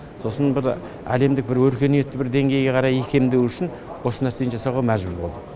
сосын бір әлемдік бір өркениетті бір деңгейге қарай икемдеу үшін осы нәрсені жасауға мәжбүр болдық